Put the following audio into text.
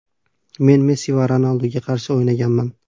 Men Messi va Ronalduga qarshi o‘ynaganman.